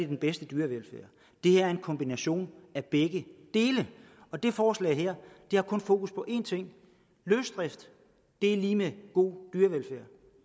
den bedste dyrevelfærd det er en kombination af begge dele det forslag her har kun fokus på en ting løsdrift er lig med god dyrevelfærd